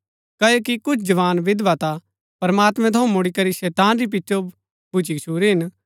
क्ओकि कुछ जवान विधवा ता प्रमात्मैं थऊँ मुड़ीकरी शैतान री पिचो भुच्‍ची गछूरी हिन